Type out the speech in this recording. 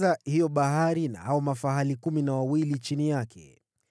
hiyo Bahari na hao mafahali kumi na wawili chini yake;